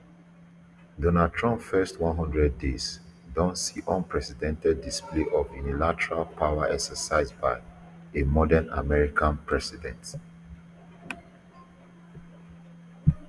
donald trump first one hundred days don see unprecedented display of unilateral power exercised by a modern american president